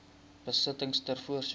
besittings ter voorsiening